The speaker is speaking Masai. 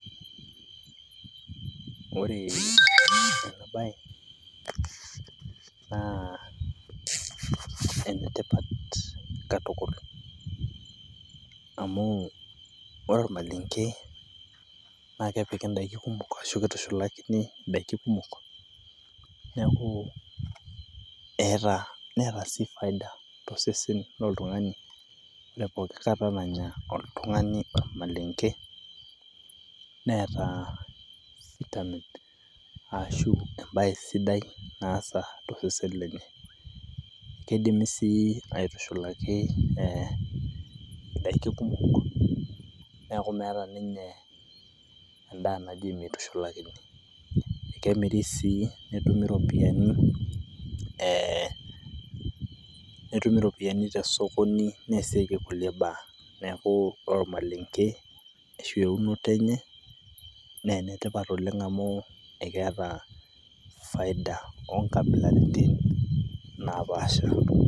Ore ena bae naa enetipat tukul amu ore olmalenge naa kepiki n`daikin kumok ashu kitushulakini in`daikin kumok niaku eeta , neeta sii faida to sesen lotung`ani poki kata nanya oltung`ani olmalenke neeta sii vitamin ashu embae sidai naasa to sesen lenye. Keidimi sii aitushulaki in`daiki kumok niaku meeta ninye en`daa naji meitushulakini. Kemiri sii netumi ropiyiani ee, ee netumi ropiyiani to sokoni neasieki kulie baa. Niaku ore olmalenge ashu eunoto enye naa enetipat oleng amu keeta faida oo nkabilaritin napaasha.